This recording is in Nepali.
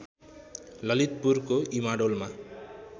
ललितपुरको इमाडोलमा